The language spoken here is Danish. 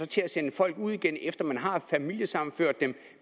til at sende folk ud igen efter at man har familiesammenført dem